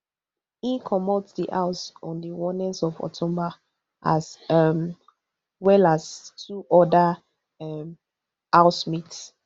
e comot di house on di onest of october as um well as two oda um housemates